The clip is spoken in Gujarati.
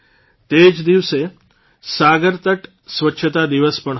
તે જ દિવસે સાગરતટ સ્વચ્છતા દિવસ પણ હતો